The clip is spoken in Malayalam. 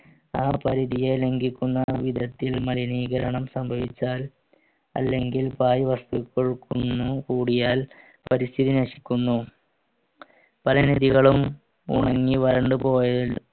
ആ പരിധിയി ലംഗിക്കുന്ന വിധത്തിൽ മലിനീകരണം സംഭവിച്ചാൽ അല്ലെങ്കിൽ പായ് വസ്തുക്കൾ കുന്നു കൂടിയാൽ പരിസ്ഥിതി നശിക്കുന്നു പല നദികളും ഉണങ്ങി വരണ്ടു പോയത്